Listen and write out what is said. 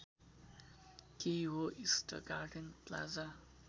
केही हो east garden plaza